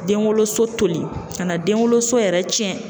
Den wolo so toli ka na den wolo so yɛrɛ cɛn.